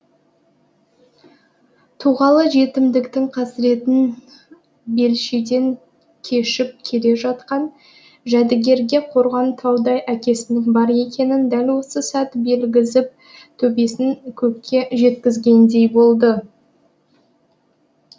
туғалы жетімдіктің қасіретін белшеден кешіп келе жатқан жәдігерге қорған таудай әкесінің бар екенін дәл осы сәт білгізіп төбесін көкке жеткізгендей болды